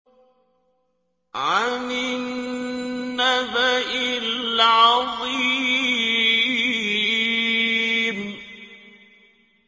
عَنِ النَّبَإِ الْعَظِيمِ